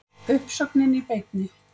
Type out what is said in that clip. Uppsögnin í beinni